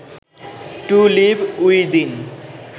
two live within